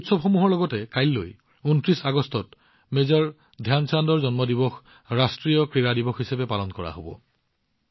এই উৎসৱসমূহৰ লগতে কাইলৈ মেজৰ ধ্যান চান্দজীৰ জন্ম জয়ন্তী অৰ্থাৎ ২৯ আগষ্টত ৰাষ্ট্ৰীয় ক্ৰীড়া দিৱসো উদযাপন কৰা হব